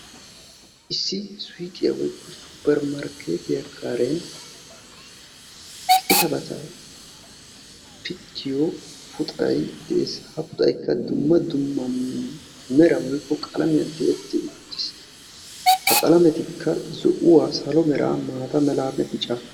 Issi suyiqiya woykko suppermarkeetiya karen qitabata pittiyo puxay de'es. Ha puxayikka dumma dumma meran woyikko qalamiyan tiyetti uttis. Ha qalametikka zo'uwa, salo meraa, maata meraanne bica.